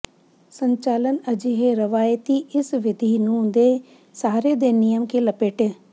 ਸੰਚਾਲਨ ਅਜਿਹੇ ਰਵਾਇਤੀ ਇਸ ਵਿਧੀ ਨੂੰ ਦੇ ਸਾਰੇ ਦੇ ਨਿਯਮ ਕੇ ਲਪੇਟੇ